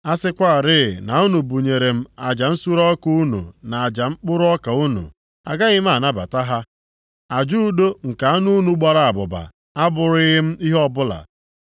A sịkwarị na unu bunyere m aja nsure ọkụ unu na aja mkpụrụ ọka unu, agaghị m anabata ha. Aja udo nke anụ unu gbara abụba abụrụghị m ihe ọbụla.